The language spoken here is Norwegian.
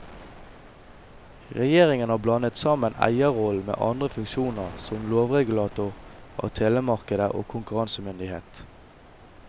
Regjeringen har blandet sammen eierrollen med andre funksjoner som lovregulator av telemarkedet og konkurransemyndighet.